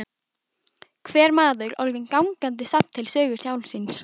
Hver maður orðinn gangandi safn til sögu sjálfs sín.